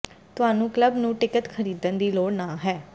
ਤੁਹਾਨੂੰ ਕਲੱਬ ਨੂੰ ਟਿਕਟ ਖਰੀਦਣ ਦੀ ਲੋੜ ਨਹ ਹੈ